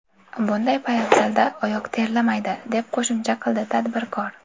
Bunday poyabzalda oyoq terlamaydi”, deb qo‘shimcha qildi tadbirkor.